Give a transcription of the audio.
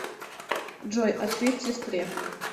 джой ответь сестре